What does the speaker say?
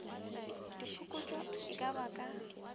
diphokotšo e ka ba ka